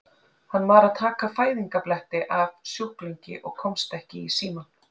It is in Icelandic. Hann var að taka fæðingarbletti af sjúklingi og komst ekki í símann.